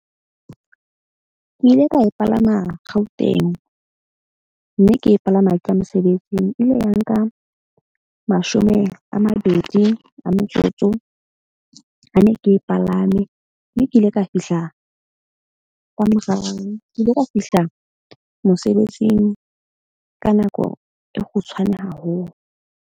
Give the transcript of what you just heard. Ke ile ka e palama Gauteng, mme ke e palama ke ya mosebetsing. E ile ya nka mashome a mabedi a metsotso ha ne ke e palame. Mme ke ile ka fihla ka morao, ke ile ka fihla mosebetsing ka nako e kgutshwane haholo.